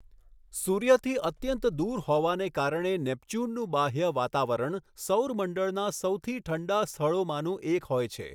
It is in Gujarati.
સૂર્યથી અત્યંત દૂર હોવાને કારણે નેપચ્યુનનું બાહ્ય વાતાવરણ સૌર મંડળના સૌથી ઠંડા સ્થળોમાંનું એક હોય છે.